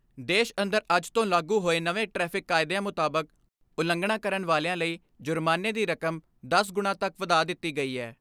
ਦੇਸ਼ ਅੰਦਰ ਅੱਜ ਤੋਂ ਲਾਗੂ ਹੋਏ ਨਵੇਂ ਟ੍ਰੈਫਿਕ ਕਾਯਦਿਆਂ ਮੁਤਾਬਕ ਉਲੰਘਣਾ ਕਰਨ ਵਾਲਿਆਂ ਲਈ ਜੁਰਮਾਨੇ ਦੀ ਕਰਮ ਦਸ ਗੁਣਾ ਤੱਕ ਵਧਾ ਦਿੱਤੀ ਗਈ ਹੈ।